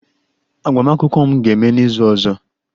Agbamakwụkwọ m ga-eme n'izu ọzọ